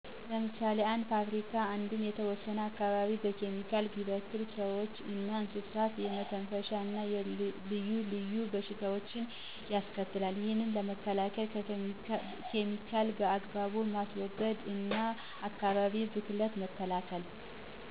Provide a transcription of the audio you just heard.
ለምሳሌ አንድ ፋብሪካ አንድን የተወሰነ አካባቢ በኬሚካል ቢበክል በሠወችእና በእንስሳት የመተፈሻን እና ልዩ ልዩ በሽታዎች ያስከትላል ይህን ለመከላከል ኬሚካልን በአግባቡ ማስወገድ እና አካባቢን ብክለት መከላከል።